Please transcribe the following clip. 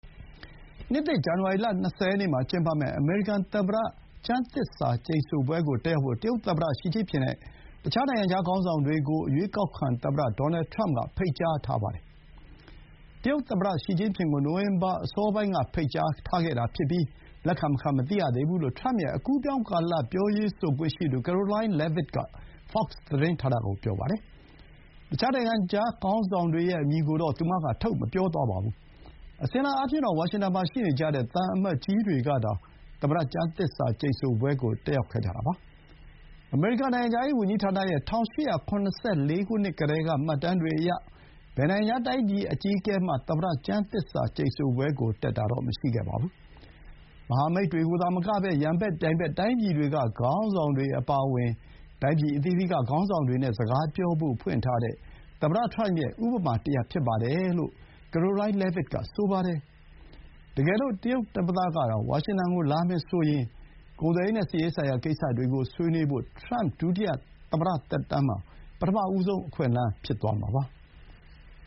နှစ်သစ် ဇန္နဝါရီ ၂၀ ရက်နေ့မှာ ကျင်းပမယ့် အမေရိကန်သမ္မတ ကျမ်းသစ္စာကျိန်ဆိုပွဲကို တက်ရောက်ဖို့ တရုတ်သမ္မတ ရှိကျင့်ဖျင်နဲ့ တခြား နိုင်ငံခြား ခေါင်းဆောင်တွေကို အရွေးကောက်ခံ သမ္မတ ဒေါ်နယ်ထရမ့်က ဖိတ်ကြားထားပါတယ်။ တရုတ်သမ္မတ ရှီကျင့်ဖျင်ကို နိုဝင်ဘာ အစောပိုင်းက ဖိတ်ကြားထားတာဖြစ်ပြီး၊ လက်ခံမခံ မသိရသေးဘူးလို့ ထရမ့်ရဲ့ အကူးအပြောင်းကာလ ပြောရေးဆိုခွင့်ရှိသူ Karoline Leavitt က FOX သတင်းဌာနကို ပြောပါတယ်။ တခြား နိုင်ငံခြားခေါင်းဆောင်တွေရဲ့ အမည်ကိုတော့ သူမက ထုတ်မပြောပါဘူး။ အစဥ်အလာ အားဖြင့်တော့ ဝါရှင်တန်မှာ ရှိနေကြတဲ့ သံအမတ်ကြီးတွေကသာ သမ္မတ ကျမ်းသစ္စာ ကျိန်ဆိုပွဲကို တက်ရောက်ကြတာပါ။ အမေရိကန် နိုင်ငံခြားရေးဝန်ကြီးဌာနရဲ့ ၁၈၇၄ ကတည်းက မှတ်တမ်းတွေအရ ဘယ်နိုင်ငံခြား တိုင်းပြည် အကြီးအကဲမှ သမ္မတ ကျမ်းသစ္စာကျိန်ဆိုပွဲကို တက်တာ မရှိခဲ့ပါဘူး။ မဟာမိတ်တွေသာ မကဘဲ၊ ရန်ဘက်၊ ပြိုင်ဘက် တိုင်းပြည်တွေက ခေါင်းဆောင်တွေအပါအဝင် တိုင်းပြည် အသီးသီးက ခေါင်းဆောင်တွေနဲ့ စကားပြောဖို့ ဖွင့်ထားတဲ့ သမ္မတ ထရမ့်ရဲ့ ဥပမာတရပ် ဖြစ်ပါတယ်လို့ Karoline Leavitt က ဆိုပါတယ်။ တကယ်လို့ တရုတ် သမ္မတသာ ဝါရှင်တန် လာမယ်ဆိုရင် ကုန်သွယ်ရေးနဲ့ စစ်ရေးဆိုင်ရာ ကိစ္စတွေကို ဆွေးနွေးဖို့ ထရမ့် ဒုတိယ သမ္မတသက်တမ်းမှာ ပထမဆုံး အခွင့်အလမ်း ဖြစ်သွားမှာပါ။